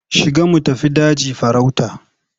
Shiga mu tafi daji farauta.